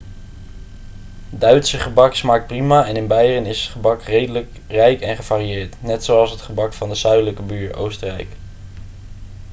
duitse gebak smaakt prima en in beieren is het gebak redelijk rijk en gevarieerd net zoals het gebak van de zuidelijke buur oostenrijk